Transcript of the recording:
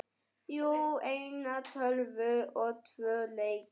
Jú, eina tölvu og tvo leiki.